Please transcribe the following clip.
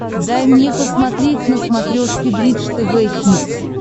дай мне посмотреть на смотрешке бридж тв хитс